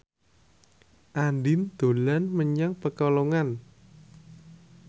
Andien dolan menyang Pekalongan